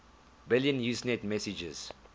billion usenet messages